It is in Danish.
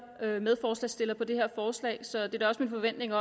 er jo medforslagsstiller på det her forslag så det er da også min forventning